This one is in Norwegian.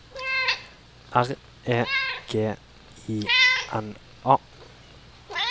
R E G I N A